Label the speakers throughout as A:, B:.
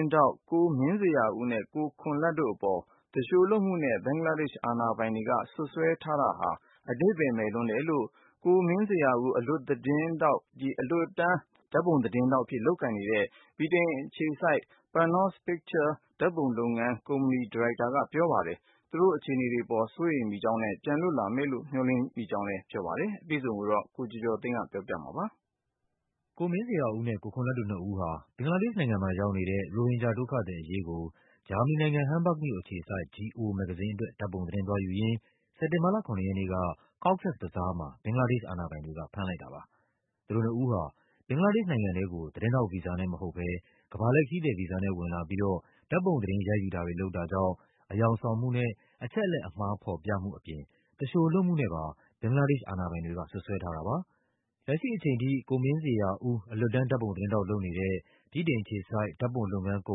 A: င်းထောက် ကိုမင်းဇေယျာဦးနဲ့ ကိုခွန်လတ်တို့အပေါ် သူလျှိုလုပ်မှုနဲ့ ဘင်္ဂလားဒေ့ရှ် အာဏာပိုင်တွေက စွပ်စွဲထားတာဟာ အဓိပ္ပါယ်မဲ့လွန်းတယ်လို့ ကိုမင်းဇေယျာဦး အလွတ်တန်း ဓာတ်ပုံသတင်းထောက်အဖြစ် လုပ်ကိုင်နေတဲ့ ဗြိတိန် အခြေစိုက် Panos Pictures ဓာတ်ပုံလုပ်ငန်းကုမ္ပဏီ ဒါရိုက်တာက ပြောပါတယ်။ သူ့အခြေအနေ အပေါ် စိုးရိမ်မိတဲ့အကြောင်းနဲ့ ပြန်လွတ်လာမယ်လို့ မျှော်လင့် ထားကြောင်းလဲ ပြောပါတယ်။ အပြည့်အစုံကို ကိုကျော်ကျော်သိန်းက ပြောပြ
B: ပါမယ်။ ကိုမင်းဇေယျာဦးနဲ့ ကိုခွန်လတ်တို့နှစ်ဦးဟာ ဘင်္ဂလားဒေ့ရှ်နိုင်ငံမှာရောက်နေတဲ့ ရိုဟင်ဂျာဒုက္ခသည်အရေးကို ဂျာမနီနိုင်ငံ၊ ဟမ်းဘာ့ဂ်မြို့အခြေစိုက် Geo မဂ္ဂဇင်းအတွက် ဓာတ်ပုံသတင်းသွားယူရင်း စက်တင်ဘာလ ၇ ရက်နေ့က Cox’s Bazar မှာ ဘင်္ဂလားဒေ့ရှ် အာဏာပိုင်တွေက ဖမ်းလိုက်တာပါ။ သူတို့နှစ်ဦးဟာ ဘင်္ဂလားဒေ့ရှ်နိုင်ငံထဲကို သတင်းထောက်ဗီဇာနဲ့မဟုတ်ဘဲ ကမ္ဘာလှည့် ခရီးသည်ဗီဇာနဲ့ ဝင်လာပြီးတော့ ဓာတ်ပုံ သတင်းရိုက်ယူတာတွေ လုပ်တာကြောင့် အယောင်ဆောင်မှုနဲ့ အချက်အလက်အမှားဖော်ပြမှုအပြင် သူလျှိုလုပ်မှုနဲ့ပါ ဘင်္ဂလား ဒေ့ရှ်အာဏာပိုင်တွေက စွပ်စွဲထားတာပါ။ လက်ရှိအချိန်ထိ ကိုမင်းဇေယျာဦး အလွတ်တန်း ဓာတ်ပုံသတင်းထောက်လုပ်နေတဲ့ ဗြိတိန်အခြေစိုက် ဓာတ်ပုံလုပ်ငန်းကု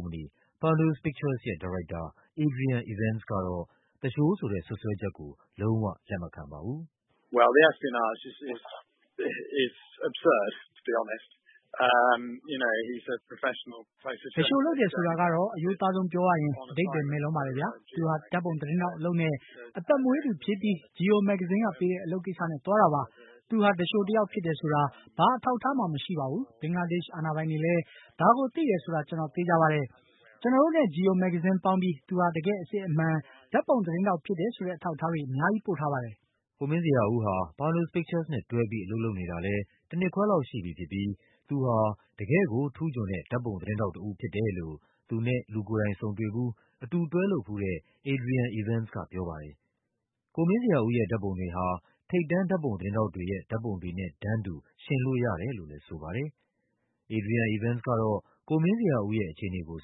B: မ္ပဏီ Panos Pictures ရဲ့ ဒါရိုက်တာ Adrian Evans ကတော့ သူလျှိုဆိုတဲ့စွပ်စွဲချက်ကို လုံး၀ လက်မခံပါဘူး။
A: “သူလ
C: ျှိုလုပ်တယ်ဆိုတာကတော့ အရိုးသားဆုံးပြောရရင် အဓိပ္ပါယ်မဲ့လွန်းပါတယ်ဗျာ။ သူဟာ ဓာတ်ပုံသတင်း ထောက်အလုပ်နဲ့ အသက်မွေးသူဖြစ်ပြီး Geo မဂ္ဂဇင်းကပေးတဲ့ အလုပ်ကိစ္စနဲ့ သွားတာပါ။ သူဟာ သူလျှိုတယောက်ဖြစ်တယ် ဆိုတာ ဘာ အထောက်အထားမှ မရှိပါဘူး။ ဘင်္ဂလားဒေ့ရှ်အာဏာပိုင်တွေလဲ ဒါကိုသိတယ်ဆိုတာ ကျနော်သေချာပါတယ်။ ကျနော်တို့နဲ့ Geo မဂ္ဂဇင်းပေါင်းပြီး သူဟာ တကယ့်အစစ်အမှန် ဓာတ်ပုံသတင်းထောက်ဖြစ်တယ်ဆိုတဲ့ အထောက်အထားတွေ အများကြီး ပို့ထားပါတယ်။
B: ” ကိုမင်းဇေယျာဦးဟာ Panos Pictures နဲ့တွဲပြီး အလုပ်လုပ်နေတာလဲ တနှစ်ခွဲလောက် ရှိပြီဖြစ်ပြီး သူဟာ တကယ့်ကိုထူးချွန်တဲ့ ဓာတ်ပုံသတင်းထောက်တဦး ဖြစ်တယ်လို့ သူနဲ့ လူကိုယ်တိုင်ဆုံတွေ့ဖူး၊ အတူတွဲလုပ်ဖူးတဲ့ Adrian Evans ကပြောပါတယ်။ ကို မင်းဇေယျာဦးရဲ့ ဓာတ်ပုံတွေဟာ ထိပ်တန်းဓာတ်ပုံ သတင်းထောက်တွေရဲ့ ဓာတ်ပုံတွေနဲ့တန်းတူ ယှဉ်လို့ရတယ်လို့လဲ ဆိုပါတယ်။ Adrian Evans ကတော့ ကိုမင်းဇေယျာဦးရဲ့အခြေအနေကို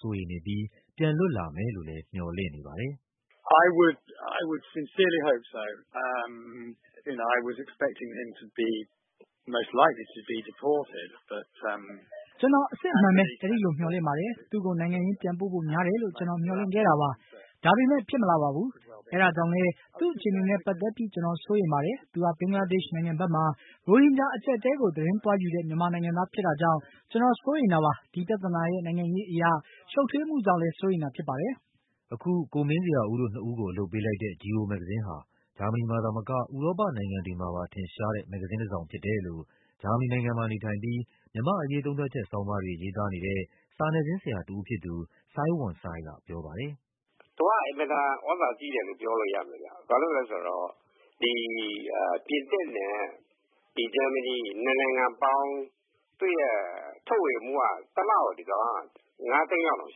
B: စိုးရိမ်နေပြီး ပြန်လွတ်လာမယ်လို့လဲ မျှော်လင့်နေပါတယ်။ “ကျနော် အစစ်အမှန်ပဲ
A: အဲဒီ
C: လိုမျှော်လင့်ပါတယ်။ သူ့ကို နိုင်ငံရင်း ပြန်ပို့ဖို့များတယ်လို့ ကျနော်မျှော်လင့်ခဲ့တာပါ။ ဒါပေမဲ့ ဖြစ်မလာပါဘူး။ အဲဒါကြောင့်လဲ သူ့အခြေအနေနဲ့ပတ်သက်ပြီး ကျနော်စိုးရိမ်ပါတယ်။ သူဟာ ဘင်္ဂလားဒေ့ရှ်နိုင်ငံဘက်မှာ ရိုဟင်ဂျာအကျပ်အတည်းကို သတင်းသွားယူတဲ့ မြန်မာနိုင်ငံသားဖြစ်တာကြောင့် ကျနော်စိုးရိမ်တာပါ။ ဒီပြဿနာရဲ့ နိုင်ငံရေးအရ ရှုပ်ထွေးမှုကြောင့်လဲ စိုးရိမ်တာဖြစ်ပါတယ်
B: ။” အခု ကိုမင်းဇေယျာဦးတို့နှစ်ဦးကို အလုပ်ပေးလိုက်တဲ့ Geo မဂ္ဂဇင်းဟာ ဂျာမနီမှာသာမက ဥရောပနိုင်ငံတွေမှာ ထင်ရှားတဲ့ မဂ္ဂဇင်း တစောင်ဖြစ်တယ်လို့ ဂျာမနီနိုင်ငံမှာနေထိုင်ပြီး မြန်မာ့အရေး သုံးသပ်ချက်ဆောင်းပါးတွေ ရေးသားနေတဲ့ စာနယ်ဇင်းဆရာတဦး ဖြစ်သူ စိုင်းဝမ်စိုင်းက ပြောပါတယ်။
A: " သူက အင်မတန်သြဇာကြီးတယ်လို့ ပြောလို့ရမယ်ဗျ ဘာလို့လဲဆိုတော့ ဒီပြင်သစ်နဲ့ ဂျာမနီ နှစ်နိုင်ငံပေါင်း သူ့ရဲ့ထုတ်ဝေမှုက တစ်လကိုငါးသိန်းလောက်တောင်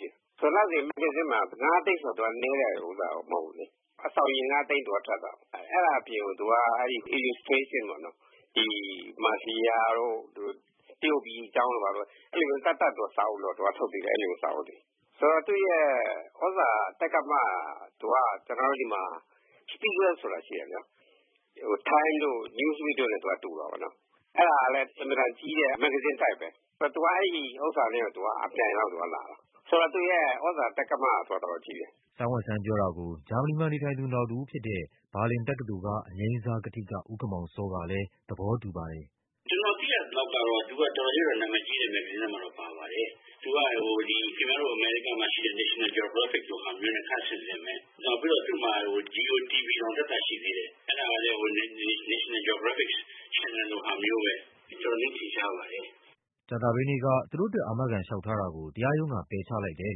A: ရှိတယ်။ လစဉ်မဂ္ဂဇင်းမှာ ငါးသိန်းဆိုတာ နည်းတာမဟုတ်ဘူးလေ အစောင်ရေ ငါးသိန်းထွက်တာ အဲ့တာအပြင် သူက illustration ပေါ့နော် သူက မာဖီယာတို့ တရုတ်ပြည်အကြောင်းတို့ အဲ့လိုမျိုး သပ်သပ် စာအုပ်ထုတ်သေးတယ် စာအုပ်တွေ။ ဆိုတော့ သူ့ရဲ့သြဇာတိက္ကမက တော်တော်ကြီးတယ်။ ကျနော်တို့ဆီမှာ Spiegel ဆိုတာရှိတယ် Time တို့ Newsweek တို့နဲ့သွားတူတာပေါ့နော် အဲ့တာလည်း အင်မတန်ကြီးတဲ့ မဂ္ဂဇင်းတိုက်ပဲ သူက အဲ့ဥစ္စာနဲ့အပြိုင်လောက်ကို သူက လာတာ။ ဆိုတော့ သူ့ရဲ့သြဇာတိက္ကမက တော်တော်ကြီးတယ်။
B: " စိုင်းဝမ်စိုင်းပြောတာကို ဂျာမနီမှာနေထိုင်သူ နောက်တဦးဖြစ်တဲ့ ဘာလင်တက္ကသိုလ်၊ အငြိမ်းစားကထိက ဦးခင်မောင်စောကလဲ သဘောတူပါတယ်
A: ။ " ကျနော်သိရသလောက်တော့ သူက တော်တော်လေးတော့ နာမည်ကြီးတဲ့ မဂ္ဂဇင်းထဲမှာတော့ ပါပါတယ်။ သူက ခင်ဗျားတို့ အမေရိကားမှာရှိတဲ့ National Geographic လိုဟာမျိုးနဲ့ ခပ်ဆင်ဆင်ပဲ။ နောက်ပြီးတော့ သူ့မှာ G O TV တောင် သပ်သပ်ရှိသေးတယ်။ အဲ့တာလည်း National Geographic ချယ်နယ်လိုဟာမျိုးပဲ တော်တော်လေးထ
B: င်ရှားပါတယ်။" ကြာသပတေးနေ့က သူတို့အတွက် အာမခံလျှောက်ထားတာကို တရားရုံးက ပယ်ချလိုက်တယ်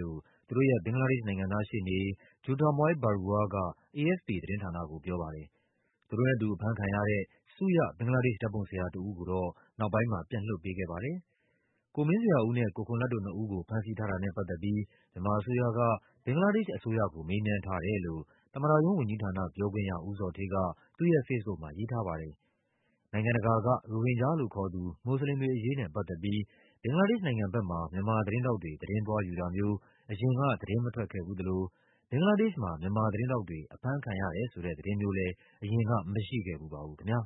B: လို့ သူတို့ရဲ့ ဘင်္ဂလားဒေ့ရှ် နိုင်ငံသားရှေ့နေ Jyotirmoy Barua က AFP သတင်းဌာနကို ပြောပါတယ်။ သူတို့နဲ့အတူအဖမ်းခံရတဲ့ ဆုရ ဘင်္ဂလားဒေ့ရှ် ဓာတ်ပုံဆရာတဦးကိုတော့ နောက်ပိုင်းမှာ ပြန်လွှတ်ပေးခဲ့ပါတယ်။ ကိုမင်းဇေယျာဦးနဲ့ ကိုခွန်လတ်တို့နှစ်ဦးကို ဖမ်းဆီးထားတာနဲ့ပတ်သက်ပြီး မြန်မာအစိုးရက ဘင်္ဂလားဒေ့ရှ်အစိုးရကို မေးမြန်း ထားတယ်လို့ သမ္မတရုံးဝန်ကြီးဌာနပြောခွင့်ရ ဦးဇော်ဌေးက သူ့ရဲ့ဖေ့စ်ဘုတ်မှာ ရေးထားပါတယ်။ နိုင်ငံတကာက ရိုဟင်ဂျာလို့ခေါ်သူ မွတ်စလင်တွေအရေးနဲ့ပတ်သက်ပြီး ဘင်္ဂလားဒေ့ရှ်ဘက်မှာ မြန်မာသတင်းထောက်တွေ သတင်းသွားယူတာမျိုး အရင်က သတင်းမထွက်ခဲ့ဖူးသလို ဘင်္ဂလားဒေ့ရှ်မှာ မြန်မာသတင်းထောက်တွေ အဖမ်းခံရတယ်ဆိုတဲ့ သတင်းမျိုးလဲ အရင်က မရှိခဲ့ဖူးပါဘူးခင်ဗျာ